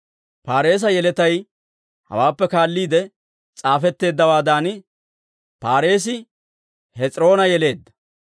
Paareesa yeletay hawaappe kaalliide s'aafetteeddawaadan: Paareesi Hes'iroona yeleedda;